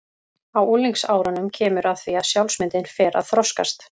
Á unglingsárunum kemur að því að sjálfsmyndin fer að þroskast.